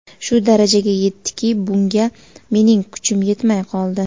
Shu darajaga yetdiki, bunga mening kuchim yetmay qoldi.